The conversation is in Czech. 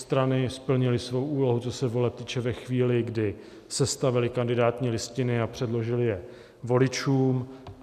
Strany splnily svou úlohu, co se voleb týče, ve chvíli, kdy sestavily kandidátní listiny a předložily je voličům.